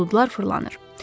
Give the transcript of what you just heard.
Buludlar fırlanır.